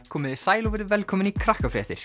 komiði sæl og verið velkomin í